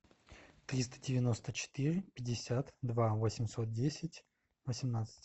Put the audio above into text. триста девяносто четыре пятьдесят два восемьсот десять восемнадцать